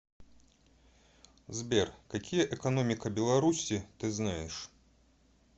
сбер какие экономика беларуси ты знаешь